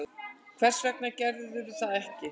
Hvers vegna gerirðu það ekki?